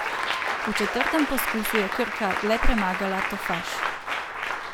V četrtem poskusu je Krka le premagala Tofaš.